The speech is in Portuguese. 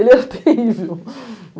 Ele era terrível.